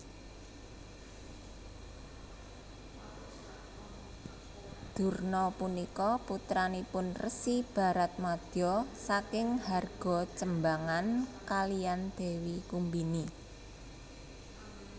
Durna punika putranipun Resi Baratmadya saking Hargajembangan kaliyan Dewi Kumbini